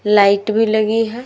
Light भी लगी है।